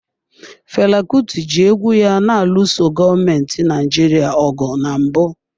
Fela Kuti ji egwu ya na-alụso gọọmenti Naijiria ọgụ na mbụ.